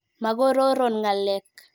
Makororon ng'alek.